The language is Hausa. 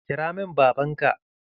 Kira min baban ka!